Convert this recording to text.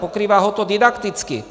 Pokrývá ho to didakticky.